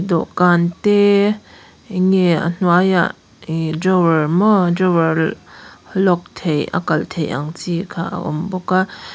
dawhkan te eng nge a hnuaiah ihh drawer maw drawer lock theih a kalh theih ang chi kha a awm bawk a.